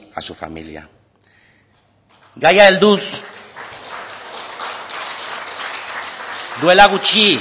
a su familia gaiari helduz duela gutxi